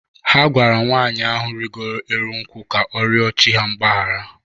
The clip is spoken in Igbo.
Ha gwara nwaanyị ahụ rịgoro elu nkwụ ka ọ rịọ chi ha mgbahara.